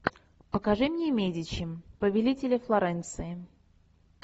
покажи мне медичи повелители флоренции